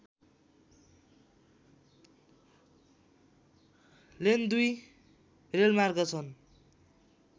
lane दुई रेलमार्ग छन्